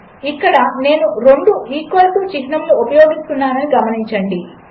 ఇక్కడనేనురెండుఈక్వల్టుచిహ్నములనుఉపయోగిస్తున్నాననిగమనించండి